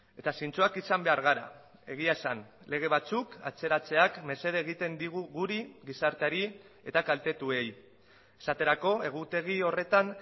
eta zintzoak izan behar gara egia esan lege batzuk atzeratzeak mesede egiten digu guri gizarteari eta kaltetuei esaterako egutegi horretan